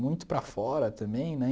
muito para fora também, né?